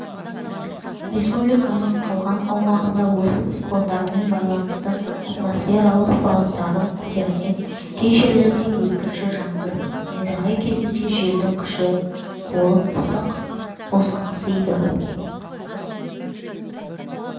республиканың қалған аумағында осы циклондармен байланысты атмосфералық фронттардың әсерінен кей жерлерде өткінші жаңбыр найзағай кезінде желдің күші болып ыстық босаңсыйды